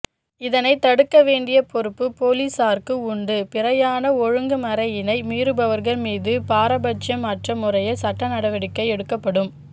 இதனை தடுக்கவேண்டிய பொறுப்ப பொலிஸாருக்கு உண்டு பிரயாண ஒழுங்குமறையினை மீறுபவர்கள் மீது பாரபட்சம் அற்ற முறையில் சட்டநடவடிக்கை எடுக்கப்படும்